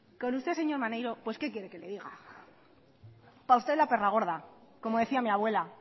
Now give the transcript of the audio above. con usted señor maneiro pues qué quiere que le diga para usted la perra gorda como decía mi abuela